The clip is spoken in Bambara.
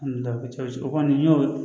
o kɔni y'o